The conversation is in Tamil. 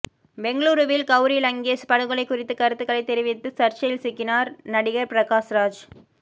பெங்களூருவில் கவுரி லங்கேஷ் படுகொலை குறித்து கருத்துகளைத் தெரிவித்து சர்ச்சையில் சிக்கினார் நடிகர் பிரகாஷ்ராஜ்